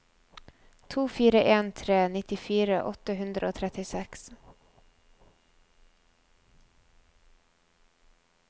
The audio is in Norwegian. to fire en tre nittifire åtte hundre og trettiseks